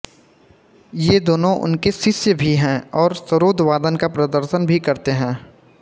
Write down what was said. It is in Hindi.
ये दोनों उनके शिष्य भी हैं और सरोद वादन का प्रदर्शन भी करते हैं